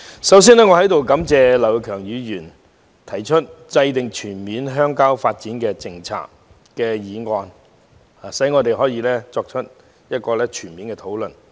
代理主席，首先要感謝劉業強議員提出"制訂全面鄉郊發展政策"的議案，讓我們可在此作出全面的討論。